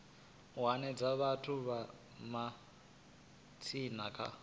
hanedza vhathu vha matshaina kha